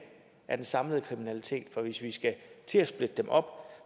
af den samlede kriminalitet for hvis vi skal til at splitte dem op